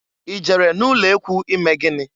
I jere n'ulekwu ime gịnị?